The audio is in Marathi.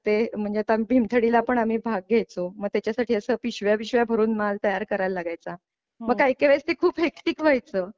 म्हणजे आता भीमथडीला पण आम्ही भाग घ्यायचो मग त्याच्या साठी असं पिशव्या पिशव्या भरून माल तयार करायला लागायचा व काही काही वेळेस ते खूप हेक्टिक व्हायचं.